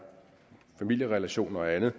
familierelationer og andet